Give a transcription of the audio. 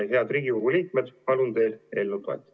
Head Riigikogu liikmed, palun teil eelnõu toetada!